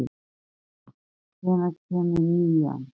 Freyþór, hvenær kemur nían?